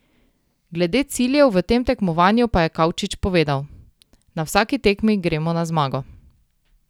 Glede ciljev v tem tekmovanju pa je Kavčič povedal: "Na vsaki tekmi gremo na zmago.